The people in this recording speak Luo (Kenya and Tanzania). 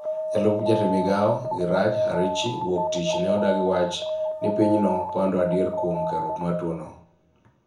Jalup jatend migao, Iraj Harirchi, wuok tich ne odagi wach ni pinyno pando adier kuom kerruok mar tuo no